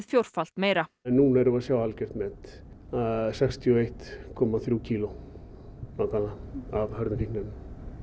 fjórfalt meira núna erum við að sjá algjört met sextíu og eitt komma þrjú kílógrömm nákvæmlega af hörðum fíkniefnum